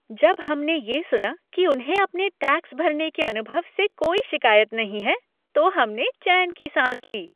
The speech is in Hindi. जब हमने ये सुना कि उन्हें अपने टैक्स भरने के अनुभव से कोई शिकायत नहीं है, तो हमने चैन की सांस ली।